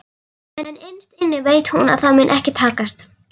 En innst inni veit hún að það mun ekki takast.